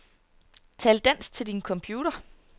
Tal dansk til din computer.